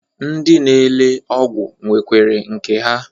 Ndị na-ele ọgwụ nwekwere nke ha